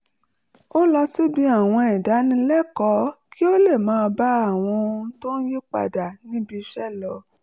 ó lọ síbi àwọn ìdánilẹ́kọ̀ọ́ kí ó lè máa bá àwọn ohun tó ń yí padà níbi iṣẹ́ lọ